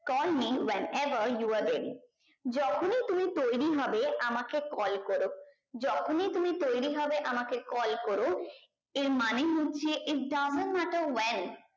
call me when ever you are ready যখনি তুমি তৈরী হবে আমাকে call করো যখনি তুমি তৈরী হবে আমাকে call কোরো এর মানে হচ্ছে it doesn't matter well